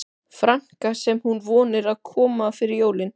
franka sem hún vonar að komi fyrir jólin.